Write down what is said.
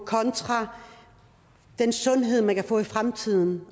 kontra den sundhed man kan få i fremtiden